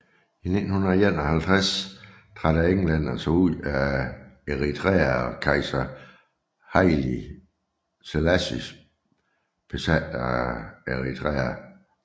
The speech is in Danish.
I 1951 trak englænderne sig ud af Eritrea og kejser Haile Selassie besatte Eritrea